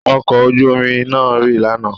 Ọkọ̀ ojú omi náà rì lánàá.